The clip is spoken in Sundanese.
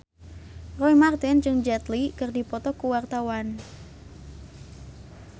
Roy Marten jeung Jet Li keur dipoto ku wartawan